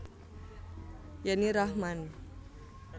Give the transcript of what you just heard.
Yenny Rachman